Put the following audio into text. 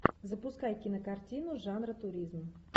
запускай кинокартину жанра туризм